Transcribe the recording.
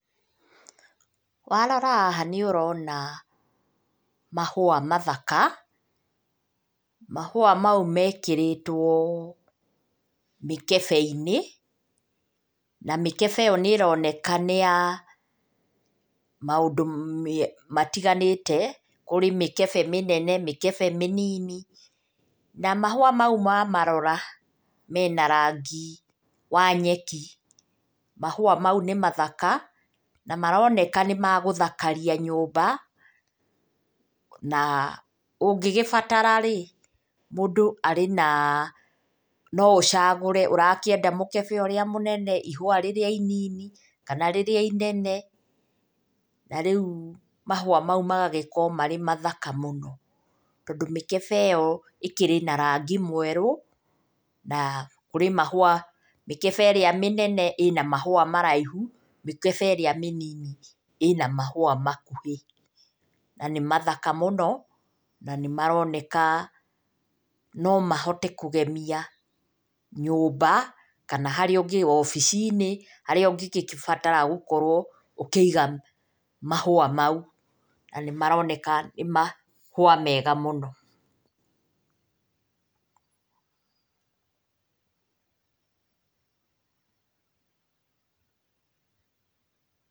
Warora haha nĩ ũrona mahũa mathaka. Mahũa mau mekĩrĩtwo mĩkebe-inĩ, na mĩkebe ĩyo nĩ ĩroneka nĩ ya maũndũ matiganĩte, kũrĩ mĩkebe mĩnene, mĩkebe mĩnini. Na mahũa mau wamarora mena rangi wa nyeki. Mahũa mau nĩ mathaka na maroneka nĩ magũthakaria nyũmba na ũngĩgĩbatara rĩ, mũndũ arĩ na no ũcagũre. Ũrakĩenda mũkebe ũrĩa mũnene, ihũa rĩrĩa inini, kana rĩrĩa inene, na rĩu mahũa mau magagĩkorwo marĩ mathaka mũno. Tondũ mĩkebe ĩyo ĩkĩrĩ na rangi mwerũ, na kũrĩ mahũa, mĩkebe ĩrĩa mĩnene ĩna mahũa maraihu, mĩkebe ĩrĩa mĩnini ĩna mahũa makuhĩ. Na nĩ mathaka mũno na nĩ maroneka no mahote kũgemia nyũmba kana harĩa ũngĩ, wabici-inĩ, harĩa ũngĩgĩbatara gũkorwo ũkĩiga mahũa mau. Na nĩ maroneka nĩ mahũa mega mũno.